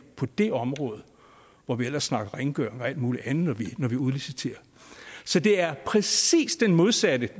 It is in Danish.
det område når vi ellers snakker om rengøring og alt muligt andet når vi udliciterer så det er præcis det modsatte